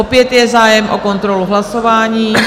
Opět je zájem o kontrolu hlasování.